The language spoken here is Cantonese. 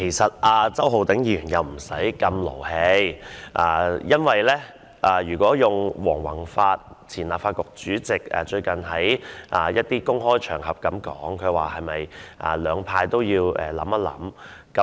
希望周浩鼎議員不需要這麼動氣，因為如果套用前立法局主席黃宏發最近在一些公開場合的說法，兩派都要想一想。